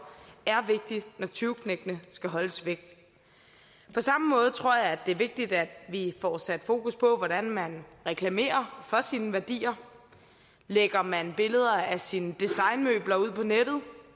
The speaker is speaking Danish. er vigtigt når tyveknægtene skal holdes væk på samme måde tror jeg det er vigtigt at vi får sat fokus på hvordan man reklamerer for sine værdier lægger man billeder af sine designmøbler ud på nettet